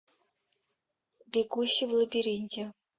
бегущий в лабиринте